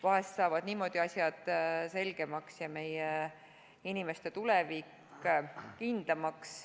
Vahest saavad niimoodi asjad selgemaks ja meie inimeste tulevik kindlamaks.